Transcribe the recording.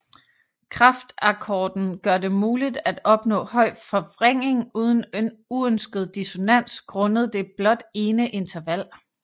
Kraftakkorden gør det muligt at opnå høj forvrængning uden uønsket dissonans grundet det blot ene interval